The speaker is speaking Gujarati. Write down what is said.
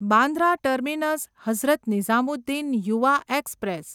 Bandra terminus Hazrat Nizamuddin Yuva express